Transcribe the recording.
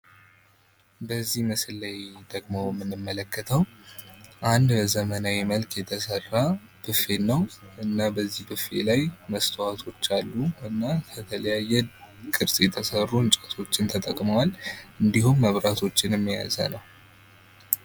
በዚህ ምስል ላይ ደሞ የምንመለከተዉ አንድ በዘመናዊ መልክ የተሰራ ቦፌን ነው ፤ እና በዚህ ቦፌ ላይ መስታወቶች አሉ፣ ከተለየየ ቅርጽ የተሰሩ እንጨቶችን ተጠቅመዋል፣ እንዲሁም መብራቶችን የያዘ ነው።